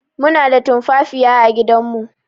Muna da tumfafiya à gidan mu